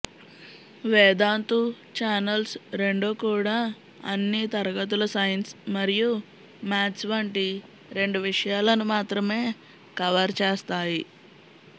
Vedantu channels రెండూ కూడా అన్ని తరగతుల సైన్స్ మరియు మ్యాథ్స్ వంటి రెండు విషయాలను మాత్రమే కవర్ చేస్తాయి